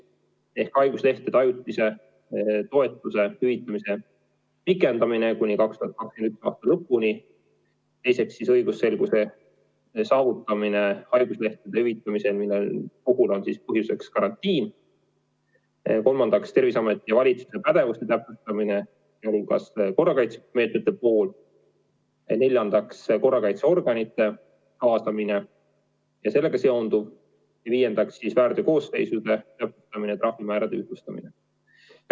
Need on haiguslehtede korral ajutise toetuse hüvitamise pikendamine kuni 2021. aasta lõpuni; teiseks, õigusselguse saavutamine haiguslehtede hüvitamisel, mille puhul on siis põhjuseks karantiin; kolmandaks, Terviseameti ja valitsuse pädevuste täpsustamine, sealhulgas korrakaitsemeetmete osas; neljandaks, korrakaitseorganite kaasamine ja sellega seonduv; viiendaks, väärteokoosseisude täpsustamine ja trahvimäärade ühtlustamine.